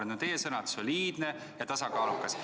Need on teie sõnad: soliidne ja tasakaalukas.